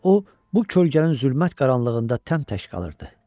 Və o, bu kölgənin zülmət qaranlığında təm tək qalırdı.